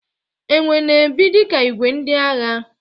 Enwe na-ebi dika igwe ndị agha.